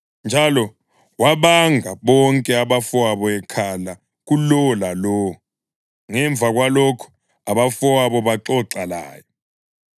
Njalo wabanga bonke abafowabo ekhala kulowo lalowo. Ngemva kwalokho abafowabo baxoxa laye.